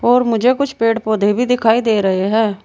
और मुझे कुछ पेड़ पौधे भी दिखाई दे रहे हैं।